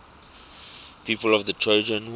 people of the trojan war